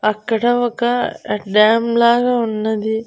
అక్కడ ఒక డ్యామ్ లాగా ఉన్నది.